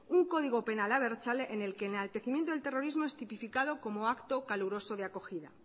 un código penal abertzale en la que el enaltecimiento del terrorismo es tipificado como un acto caluroso de acogida